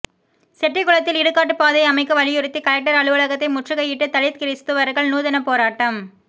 செட்டிகுளத்தில் இடுகாட்டுப்பாதை அமைக்க வலியுறுத்தி கலெக்டர் அலுவலகத்தை முற்றுகையிட்டு தலித் கிறிஸ்தவர்கள் நூதன போராட்டம்